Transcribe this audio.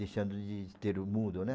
Deixando de ter o mudo, né?